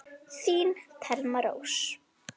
Þín Thelma Rós.